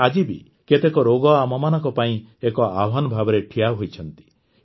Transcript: ହେଲେ ଆଜି ବି କେତେକ ରୋଗ ଆମମାନଙ୍କ ପାଇଁ ଏକ ଆହ୍ୱାନ ଭାବରେ ଠିଆହୋଇଛନ୍ତି